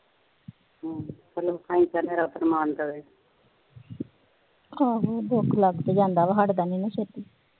ਆਹੋ ਦੁਖ ਲੱਗ ਜਾਂਦਾ ਹਟਦਾ ਨੀ ਛੇਤੀ ਹਮ